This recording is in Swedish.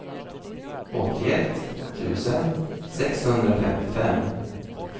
åttioett tusen sexhundrafemtiofem